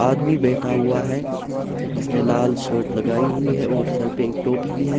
आदमी बैठा हुआ हैं जिसने लाल शर्ट लगाई हुई हैं और सिर पे एक टोपी भी हैं।